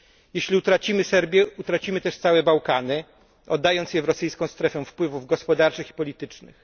Jeśli utracimy Serbię, utracimy też całe Bałkany, oddając je w rosyjską strefę wpływów gospodarczych i politycznych.